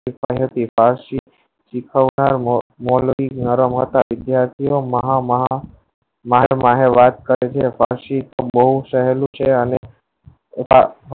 આ સીખાવનાર મારા માં મહા માં ના મને વાત કરે એ પછી